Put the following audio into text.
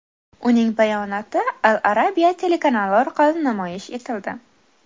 Uning bayonoti Al Arabia telekanali orqali namoyish etildi.